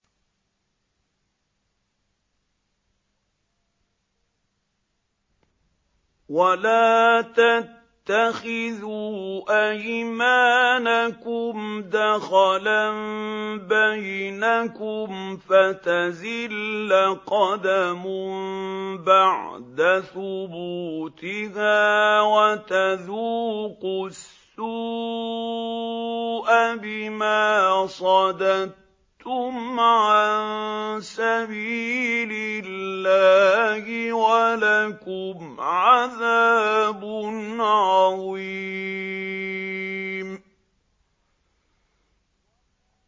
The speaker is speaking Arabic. وَلَا تَتَّخِذُوا أَيْمَانَكُمْ دَخَلًا بَيْنَكُمْ فَتَزِلَّ قَدَمٌ بَعْدَ ثُبُوتِهَا وَتَذُوقُوا السُّوءَ بِمَا صَدَدتُّمْ عَن سَبِيلِ اللَّهِ ۖ وَلَكُمْ عَذَابٌ عَظِيمٌ